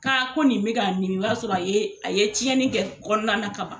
Ka ko nin bɛ ka miiri o y'a sɔrɔ a ye a ye tiɲɛni kɛ kɔnɔna na ka ban